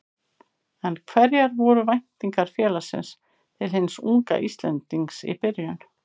En hverjar voru væntingar félagsins til hins unga Íslendings í byrjun?